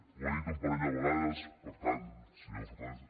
ho ha dit un parell de vegades per tant senyor fernández